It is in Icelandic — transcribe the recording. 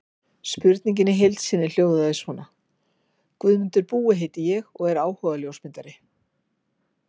Spurningin í heild sinni hljóðaði svona: Guðmundur Búi heiti ég og er áhugaljósmyndari.